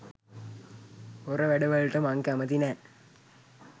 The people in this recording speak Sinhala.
හොර වැඩවලට මං කැමැති නෑ.